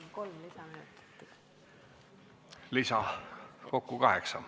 Palun kolm lisaminutit!